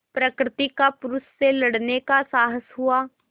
प्रकृति का पुरुष से लड़ने का साहस हुआ